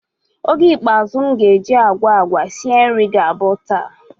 Oge ikpeazu m ga-eji agwa agwa sie nri ga-abụ taa.